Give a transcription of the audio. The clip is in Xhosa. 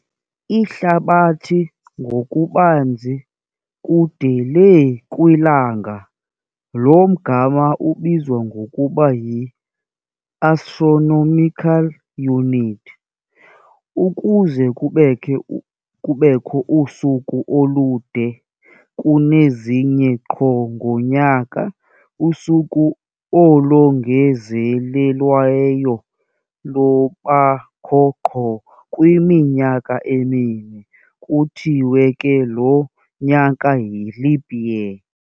Ihlabathi ngokubanzi kude le kwilanga lo mgama ubizwa ngokuba yi-Astronomical Unit. Ukuze kubekho usuku olude kunezinye qho ngonyaka, usuku olongezelelweyo lubakho qho kwiminyaka emine. kuthiwe ke lo nyaka yi-leap year.